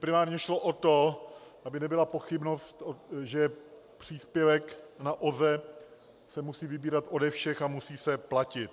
Primárně šlo o to, aby nebyla pochybnost, že příspěvek na OZE se musí vybírat ode všech a musí se platit.